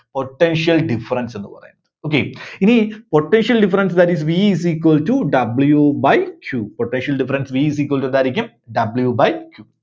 Potential difference എന്ന് പറയുന്നത്. Okay ഇനി potential difference that is V is equals to W by Q, potential difference V is equals to എന്തായിരിക്കും W by Q